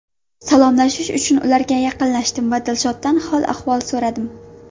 Salomlashish uchun ularga yaqinlashdim va Dilshoddan hol-ahvol so‘radim.